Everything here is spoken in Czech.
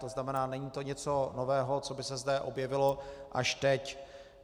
To znamená, není to nic nového, co by se zde objevilo až teď.